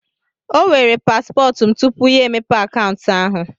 O weere paspọtụ m tupu ya emepe akaụntụ ahụ.